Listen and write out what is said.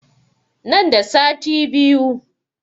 Nan da sati biyu